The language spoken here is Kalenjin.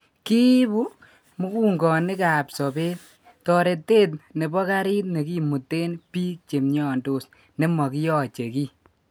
Kiibu mugungonik ap sobet, toretet nebo gariit nekimuten biik che mnyondos nemokiyache kii.